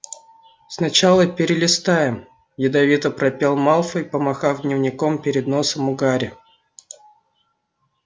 сначала перелистаем ядовито пропел малфой помахав дневником перед носом у гарри